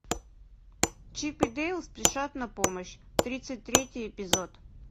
чип и дейл спешат на помощь тридцать третий эпизод